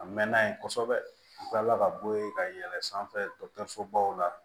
A mɛnna yen kosɛbɛ u kilala ka bɔ ye ka yɛlɛn sanfɛ baw la